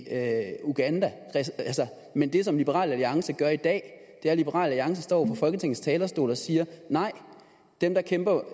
uganda men det som liberal alliance gør i dag er at liberal alliance står på folketingets talerstol og siger nej dem der kæmper